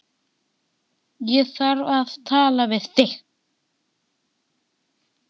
Ég þarf að tala við þig.